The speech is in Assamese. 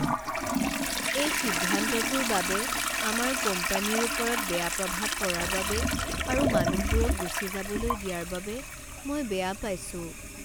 এই সিদ্ধান্তটোৰ বাবে আমাৰ কোম্পানীৰ ওপৰত বেয়া প্ৰভাৱ পৰাৰ বাবে আৰু মানুহবোৰক গুচি যাবলৈ দিয়াৰ বাবে মই বেয়া পাইছোঁ।